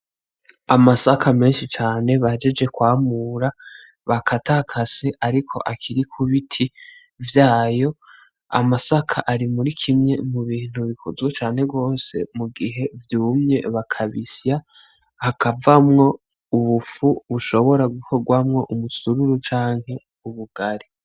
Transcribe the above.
Amasaka menshi cane bahejeje kwamura ,bakatakase ariko akiri kubiti vyayo ,amasaka ari muri kimwe mu bintu bikunzwe cane gose mugihe vyumye bakabisya hakavamwo ubufu bushobora gukorwamwo umusururu canke ubugari.